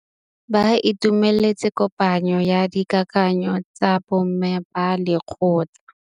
Ba itumeletse kôpanyo ya dikakanyô tsa bo mme ba lekgotla.